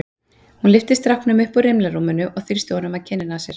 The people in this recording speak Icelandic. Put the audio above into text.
Hún lyfti stráknum upp úr rimlarúminu og þrýsti honum að kinninni á sér.